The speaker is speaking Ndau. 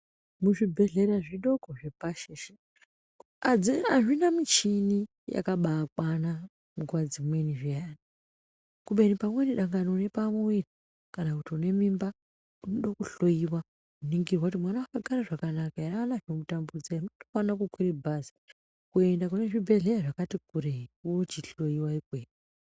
Muzvibhedhlera zvidoko zvepashi izvi, adzina, azvina michini dzakabaakwana nguva dzimweni zviyani, kubeni pamweni dangani pamwoyo kana kuti une mimba unoda kuhloiwa kuningirwa kuti mwana wakagara zvakanaka ere aana zvinomutambudza ere aone kukwira bhazi kuenda kune zvibhedhlera zvakati kurei ochihloiwa ikweyo.